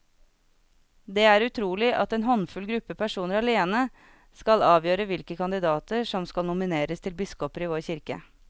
Det er utrolig at en håndfull gruppe personer alene skal avgjøre hvilke kandidater som skal nomineres til biskoper i vår kirke.